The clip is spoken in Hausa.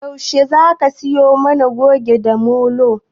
Yaushe Zaka siyo mana Goge da Molo?